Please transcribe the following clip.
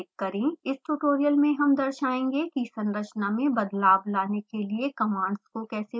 इस ट्यूटोरियल में हम दर्शाएंगे कि संरचना में बदलाव लाने के लिए commands को कैसे प्रयोग करना है